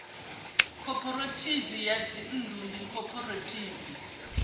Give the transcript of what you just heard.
khophorethivi ya dzinnḓu ndi khophorethivi